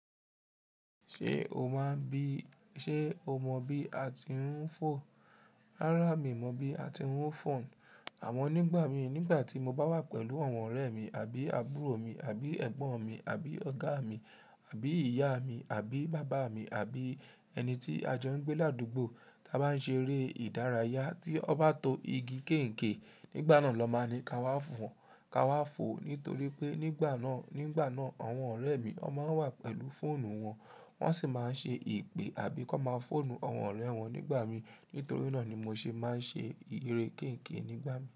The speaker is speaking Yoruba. Ṣé o máa n bí, ṣe o mọ bí a ti ń fò? Rárá mi ò mọ̀ bí a ti ń fò n. Àmọ́ nígbà mi, nígbà tí mo bá wà pẹ̀lú àwọn ọ̀rẹ́ mi àbí àbúrò mi, àbí ẹ̀gbọ́n mi, àbí Ọ̀gá mi, àbí ìyá mi, àbí bàbá mi, àbí ẹni tí a jọ ń gbé ládùúgbò, tí a bá ń ṣe eré ìdárayá tí ọ bá to igi kéènkè, nígbà náà lọ máa ni ká wá fò, ká wá fò. Nítorí pé nígbà náà, nígbà náà àwọn ọ̀rẹ́ mi ọ máa wà pẹ̀lú fóònù wọn, wọ́n sì máa ń ṣe ìpè àbí kó máa fóònù àwọn ọ̀rẹ́ wọn nígbà mi. Nítorí náà ni mo ṣe máa ń ṣe ìre kéènkè nígbà mi.